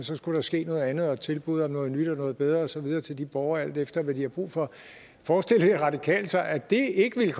så skulle der ske noget andet komme et tilbud om noget nyt og noget bedre og så videre til de borgere alt efter hvad de har brug for forestiller de radikale sig at det ikke ville